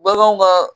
Baganw ka